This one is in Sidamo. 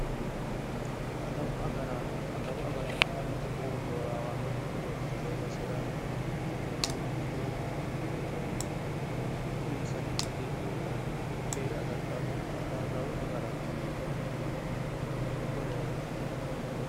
Adawu agaraano, adawu agaraano yinneemmo woyte keeru boorawanokki gede babbaxxitino basera mootimmano ikkitinoti mootimmano uminsanni qajeelitinotta keere agarittanotta adawu yineemmori kuriuti